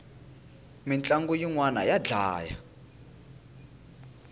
mintlangu yinwani ya dlaya